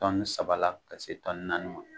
Tɔni saba la ka se tɔni naani ma.